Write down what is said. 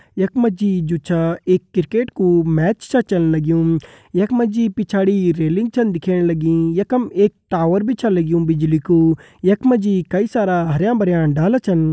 यख हम त छ एक आदमी जू छा वा अपड़ी साइकिल पर छा जाणू पिछाड़ी बिटि हम त बहोत सारा इमारत का डाला पुर्जा भी दिखेणा इमारत काफी पुराणी लगणी यांक्या लगणु काई कराल तक जमि।